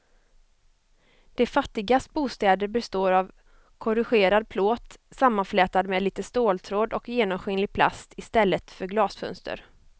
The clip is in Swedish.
De fattigas bostäder består av korrugerad plåt sammanflätad med lite ståltråd och genomskinlig plast i stället för glasfönster.